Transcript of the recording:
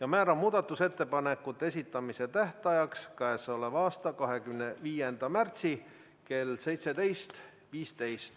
ja määrata muudatusettepanekute esitamise tähtajaks k.a 25. märtsi kell 17.15.